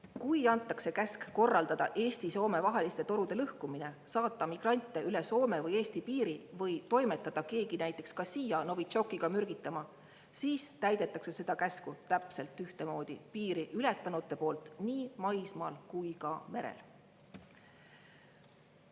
Kui antakse käsk korraldada Eesti ja Soome vaheliste torude lõhkumine, saata migrante üle Soome või Eesti piiri või toimetada keegi näiteks ka siia Novitšokiga mürgitama, siis täidetakse seda käsku täpselt ühtemoodi piiri ületanute poolt nii maismaal kui ka merel.